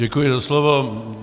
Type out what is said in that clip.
Děkuji za slovo.